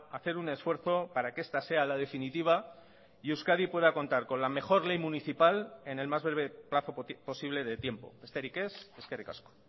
a hacer un esfuerzo para que esta sea la definitiva y euskadi pueda contar con la mejor ley municipal en el más breve plazo posible de tiempo besterik ez eskerrik asko